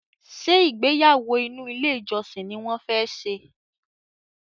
Ṣé ìgbéyàwó inú ilé ìjọsìn ni wọ́n fẹ́ ṣe?